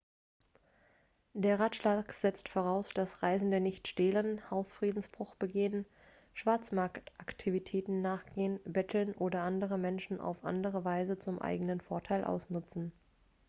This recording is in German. der ratschlag setzt voraus dass reisende nicht stehlen hausfriedensbruch begehen schwarzmarktaktivitäten nachgehen betteln oder andere menschen auf andere weise zum eigenen vorteil ausnutzen